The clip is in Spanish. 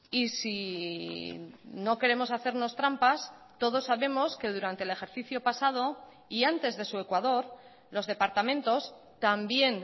y si no queremos hacernos trampas todos sabemos que durante el ejercicio pasado y antes de su ecuador los departamentos también